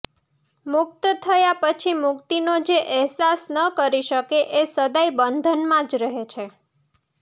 મુક્ત થયા પછી મુક્તિનો જે અહેસાસ ન કરી શકે એ સદાય બંધનમાં જ રહે છે